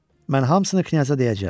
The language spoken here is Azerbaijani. Mən hamısını knyajna deyəcəm.